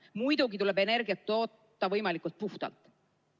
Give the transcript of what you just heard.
Muidugi tuleb energiat toota võimalikult puhtalt.